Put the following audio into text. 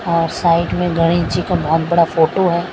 और साइड मे गणेश जी का बहोत बड़ा फोटो है।